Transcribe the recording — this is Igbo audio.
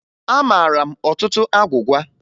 Amara m ọtụtụ agwụgwa